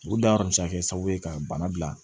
U da bɛ se ka kɛ sababu ye ka bana bila